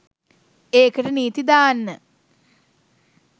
ඒකට නීතිදාන්න